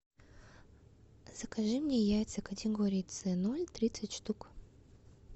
закажи мне яйца категории це ноль тридцать штук